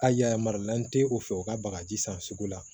A y'a yarilen tɛ o fɛ u ka bagaji san sugu la